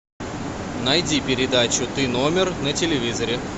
найди передачу ты номер на телевизоре